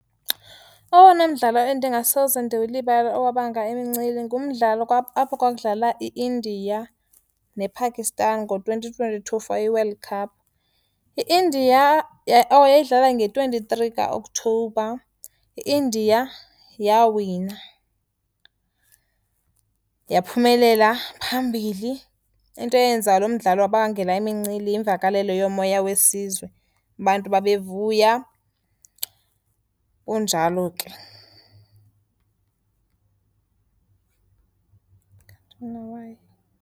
Owona mdlalo endingasoze ndiwulibale owabanga imincili ngumdlalo apho kwakudlala i-India nePakistan ngo-twenty twenty-two for iWorld Cup. I-India, oh yayidlala nge-twenty-three kaOktobha. I-India yawina, yaphumelela phambili. Into eyenza lo mdlalo wabangela imincili yimvakalelo yomoya wesizwe, abantu babevuya, kunjalo ke.